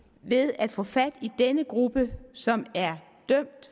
ved at få fat i den gruppe som er dømt